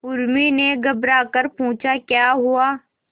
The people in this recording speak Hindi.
उर्मी ने घबराकर पूछा क्या हुआ